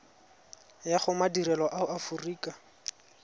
ya go madirelo a aforika